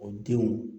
O denw